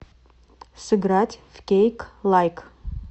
сыграть в кейклайк